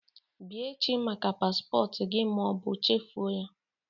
Bịa echi maka paspọtụ gị ma ọ bụ chefuo ya